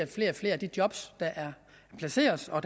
flere og flere af de job der placeres og